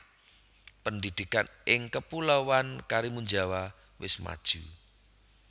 Pendidikan ing kepuloan Karimunjawa wes maju